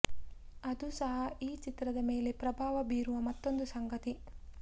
ಅದು ಸಹ ಈ ಚಿತ್ರದ ಮೇಲೆ ಪ್ರಭಾವ ಬೀರುವ ಮತ್ತೊಂದು ಸಂಗತಿ